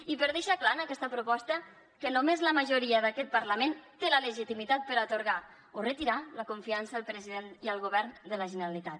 i per deixar clar en aquesta proposta que només la majoria d’aquest parlament té la legitimitat per atorgar o retirar la confiança al president i al govern de la generalitat